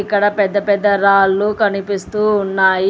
ఇక్కడ పెద్ద పెద్ద రాళ్లు కనిపిస్తూ ఉన్నాయి.